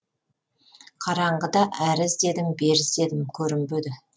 қараңғыда әрі іздедім бері іздедім көрінбеді